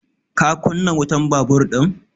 Ka kunna wutan babur ɗin?